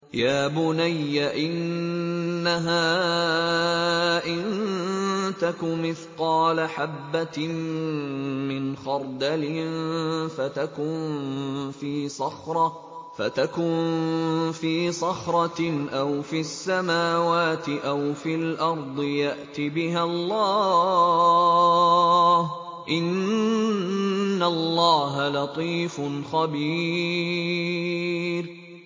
يَا بُنَيَّ إِنَّهَا إِن تَكُ مِثْقَالَ حَبَّةٍ مِّنْ خَرْدَلٍ فَتَكُن فِي صَخْرَةٍ أَوْ فِي السَّمَاوَاتِ أَوْ فِي الْأَرْضِ يَأْتِ بِهَا اللَّهُ ۚ إِنَّ اللَّهَ لَطِيفٌ خَبِيرٌ